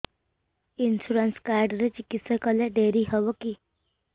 insurance card ରେ ଚିକିତ୍ସା କଲେ ଡେରି ହବକି